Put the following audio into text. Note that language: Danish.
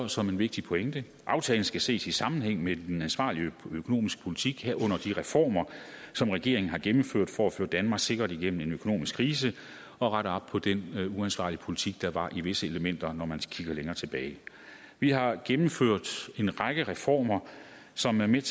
som en vigtig pointe at aftalen skal ses i sammenhæng med den ansvarlige økonomiske politik herunder de reformer som regeringen har gennemført for at føre danmark sikkert igennem en økonomisk krise og rette op på den uansvarlige politik der var i visse elementer når man kigger længere tilbage vi har gennemført en række reformer som er med